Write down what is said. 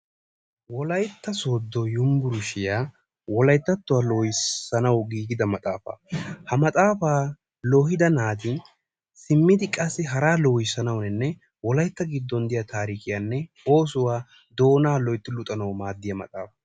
Wolaytta Sooddo Yunbburshshiyaan Wolayttatuwa loohissanaw giigida maxaafa, ha maxaafa lohida naati simmidi qassi hara lohissanawunne Wolaytta giddon diyaa taarikiyaanne oosuwaa doona loytti luxanaw maaddiyaa maxaafa.